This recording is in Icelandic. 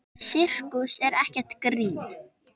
Sirkus er ekkert grín.